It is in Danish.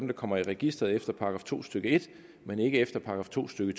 der kommer i registeret efter § to stykke en men ikke efter § to stykke